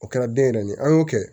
O kɛra den yɛrɛ de ye an y'o kɛ